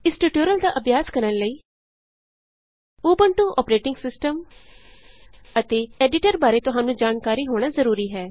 ਇਸ ਟਯੂਟੋਰਿਅਲ ਦਾ ਅਭਿਆਸ ਕਰਨ ਲਈ ਉਬੰਟੂ ਅੋਪਰੇਟਿੰਗ ਸਿਸਟਮ ਅਤੇ ਐਡੀਟਰ ਬਾਰੇ ਤੁਹਾਨੂੰ ਜਾਣਕਾਰੀ ਹੋਣਾ ਜਰੂਰੀ ਹੈ